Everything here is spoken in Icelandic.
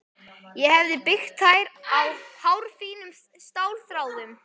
Ég hefi byggt þær á hárfínum stálþráðum.